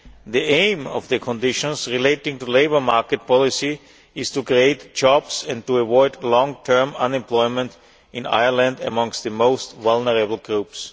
The aim of the conditions relating to labour market policy is to create jobs and to avoid long term unemployment in Ireland amongst the most vulnerable groups.